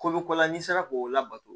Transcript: Kolo ko la n'i sera k'o labato